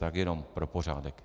Tak jenom pro pořádek.